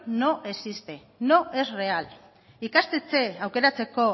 no existe no es real ikastetxe aukeratzeko